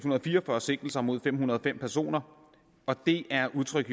og fire og fyrre sigtelser mod fem hundrede og fem personer det er udtryk